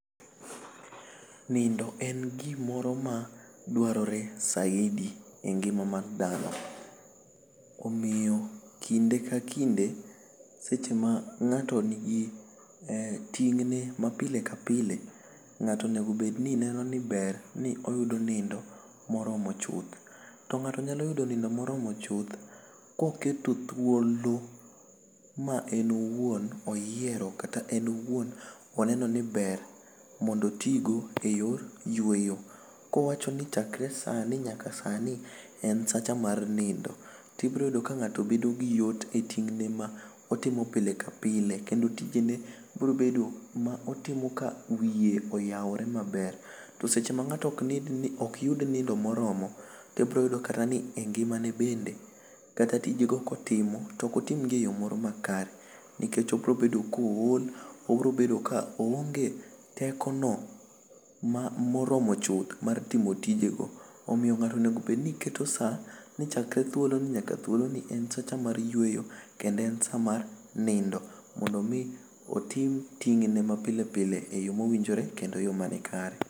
Nindo en gi moro ma dwarore saidi e ngima mar dhano omiyo kinde ka kinde seche ma ngato ni gi tingne ma pile ka pile ngato o nego neno ni ber oyudo nindo ma oromo chuth to ngato nyalo yudo nindo moromo chuth ka oketo thuolo ma en owuon oyiero kata en owuon o enno ni ber mondo o ti go e yor yueyo ka o wacho ni chakre sani nyka sani en sacha mar nindo to ibiro yudo ka ngato bedo gi yot e tingne ma otimo pile ka pile kendo tije ne biro bedo ka otimo ka wiye oyaore ma ber to seche ma ngato ok yud nindo ma oromo to ibiro yudo kata ni e ngima ne bende kata tije ne ka otimo to ok o tim gi e yo moro ma kare ni kech o biro bedo ka ool o biro bedo ka oonge teko no ma oromo chuth mar timo tije go omiyo ngato onego bed ni keto saa ni chakre thuolo ni nyaka thuolo ni en sacha mar yueyo kendo en sacha ma nindo mondo o mi oting ting ne ma pile ka pile e yo ma owinjore kendo yo ma ni kare.